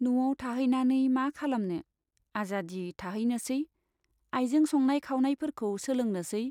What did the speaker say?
न'आव थाहैनानै मा खालामनो, आजादी थाहैनोसै, आइजों संनाय खावनाय फोरखौ सोलोंनोसै।